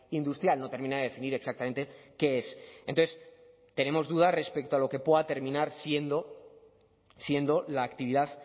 industrial no termina de definir exactamente qué es entonces tenemos dudas respecto a lo que pueda terminar siendo la actividad